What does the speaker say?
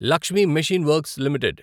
Lakshmi machine works limited